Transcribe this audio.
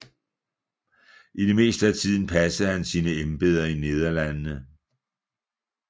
I det meste af tiden passede han sine embeder i Nederlandene